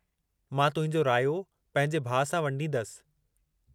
मां तुंहिंजो रायो पंहिंजे भाउ सां वंडींदसि।